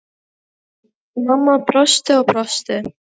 Mamma brosti og brosti.